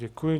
Děkuji.